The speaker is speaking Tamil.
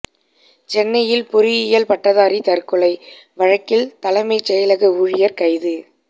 சென்னையில் பொறியியல் பட்டதாரி தற்கொலை வழக்கில் தலைமைச் செயலக ஊழியர் கைது